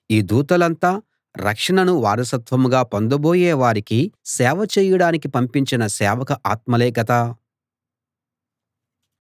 ఈ దూతలంతా రక్షణను వారసత్వంగా పొందబోయే వారికి సేవ చేయడానికి పంపించిన సేవక ఆత్మలే కదా